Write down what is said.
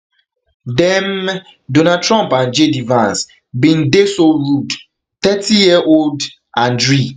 dem [donald trump and jd vance] bin dey so rude thirtyyearold andriy